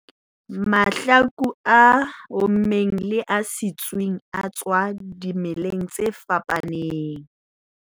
Mahlaku a ommeng le a sitsweng a tswang dimeleng tse fapaneng